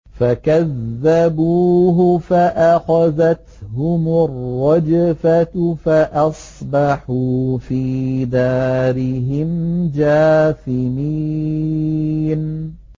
فَكَذَّبُوهُ فَأَخَذَتْهُمُ الرَّجْفَةُ فَأَصْبَحُوا فِي دَارِهِمْ جَاثِمِينَ